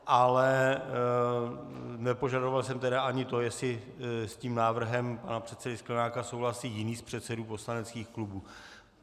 Ale nepožadoval jsem tedy ani to, jestli s tím návrhem pana předsedy Sklenáka souhlasí jiný z předsedů poslaneckých klubů.